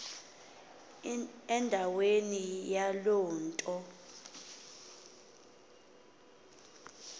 ndaweni yaloo nto